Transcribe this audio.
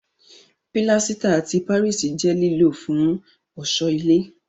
Pílásítà ti Páríìsì jẹ́ lílò fún ọ̀ṣọ́ ilé